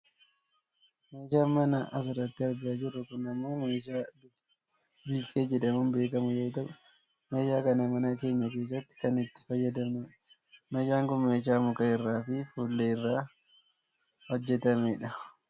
Meeshaan manaa asirratti argaa jirru kun ammoo meeshaa biiffee jedhamuun beekkamu yoo ta'u meeshaa kana mana keenya keessatti kan itti fayyadamnudha. Meeshaan kun meeshaa muka irraa fi fuullee irraa hojjatamedha.